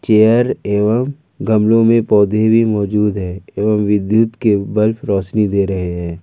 Air एवं गमलों में पौधे भी मौजूद है एवं विद्युत के बल्फ रोशनी दे रहे हैं।